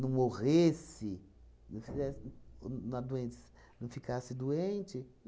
não morresse, não fizesse o na doença não ficasse doente.